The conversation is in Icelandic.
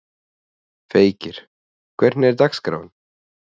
Feykir, hvernig er dagskráin?